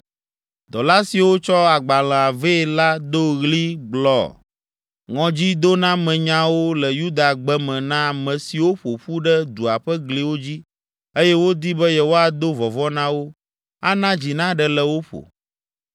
Dɔla siwo tsɔ agbalẽa vɛ la do ɣli gblɔ ŋɔdzidonamenyawo le Yuda gbe me na ame siwo ƒo ƒu ɖe dua ƒe gliwo dzi eye wodi be yewoado vɔvɔ̃ na wo, ana dzi naɖe le wo ƒo.